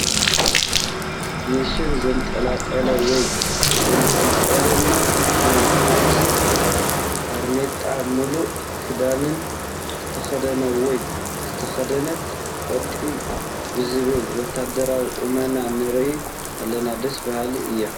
ኒሻን ዘንጠልጠለ ወይ ዘንጠልጠለና ናይ ፖሊስ ባርኔጣን ሙሉእ ክዳንንን ዝተኸደነ ወይ ዝተኸደነት ቀጥ ብዝበለ ወታደራዊ ቁመና ንርኢ ኣለና፡፡ ደስ በሃሊ እዩ፡፡